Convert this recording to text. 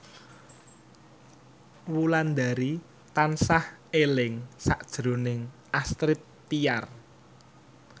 Wulandari tansah eling sakjroning Astrid Tiar